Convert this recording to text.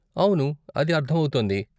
అవును, అది అర్ధమవుతోంది.